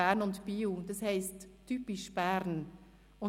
Bern und Biel durchführen, das «Typisch Bern» heisst.